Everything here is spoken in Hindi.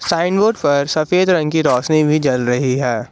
साइन बोर्ड पर सफेद रंग कि रोशनी भी जल रही है।